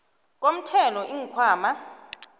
komthelo iinkhwama